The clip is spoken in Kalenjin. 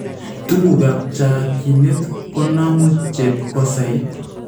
Tukuukaab chakyinet konaamu chebkoosayit